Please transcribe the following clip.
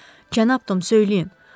Cənab Tom, söyləyin.